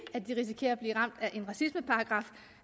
at de risikerer at blive ramt